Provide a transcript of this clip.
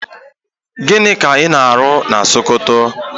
Gịnị ka ị na-arụ na Sokoto?